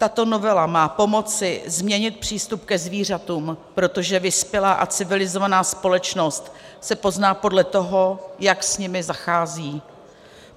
Tato novela má pomoci změnit přístup ke zvířatům, protože vyspělá a civilizovaná společnost se pozná podle toho, jak s nimi zachází.